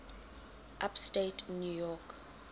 upstate new york